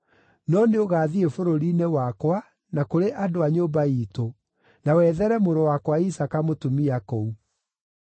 no nĩũgathiĩ bũrũri-inĩ wakwa na kũrĩ andũ a nyũmba iitũ, na wethere mũrũ wakwa Isaaka mũtumia kũu.”